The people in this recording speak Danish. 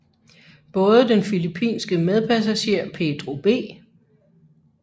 Både den filippinske medpassager Pedro B